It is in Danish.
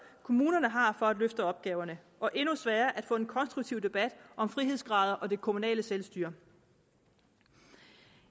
kommunerne har for at løfte opgaverne og endnu sværere at få en konstruktiv debat om frihedsgrader og det kommunale selvstyre